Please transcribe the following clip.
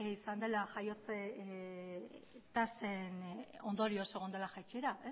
izan dela jaiotze tasen ondorioz egon dela jaitsiera